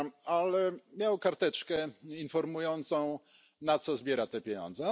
Ale miał karteczkę informującą, na co zbiera te pieniądze.